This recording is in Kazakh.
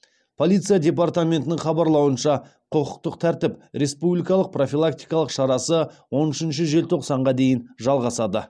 полиция департаментінің хабарлауынша құқықтық тәртіп республикалық профилактикалық шарасы он үшінші желтоқсанға дейін жалғасады